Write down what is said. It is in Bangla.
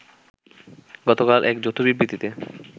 গতকাল এক যৌথ বিবৃতিতে